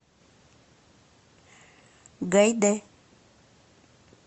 гайде